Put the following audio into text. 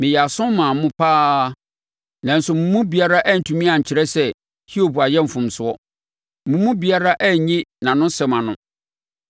meyɛɛ aso maa mo pa ara, nanso mo mu biara antumi ankyerɛ sɛ Hiob ayɛ mfomsoɔ; mo mu biara anyi nʼanosɛm ano.